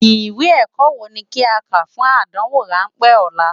Iwé èkò wó ni ki á ká fún ádánwó ránpè òlá?